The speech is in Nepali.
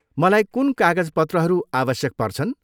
मलाई कुन कागजपत्रहरू आवश्यक पर्छन्?